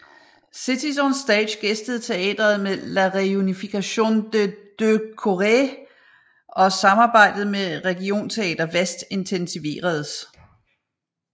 Cities on Stage gæstede teatret med La Réunification des deux Corées og samarbejdet med Regionteater Väst intensiveredes